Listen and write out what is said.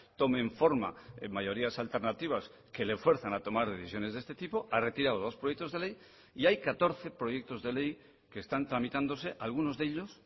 tomen forma mayorías alternativas que le fuercen a tomar decisiones de este tipo ha retirado dos proyectos de ley y hay catorce proyectos de ley que están tramitándose algunos de ellos